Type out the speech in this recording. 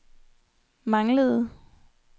manglede